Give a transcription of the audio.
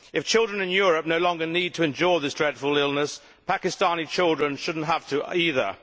If children in Europe no longer need to endure this dreadful illness, Pakistani children should not have to either.